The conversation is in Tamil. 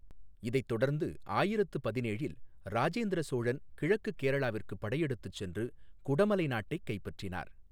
இதைத் தொடர்ந்து ஆயிரத்து பதினேழில் ராஜேந்திர சோழன் கிழக்குக் கேரளாவிற்கு படையெடுத்துச் சென்று குடமலை நாட்டைக் கைப்பற்றினார்.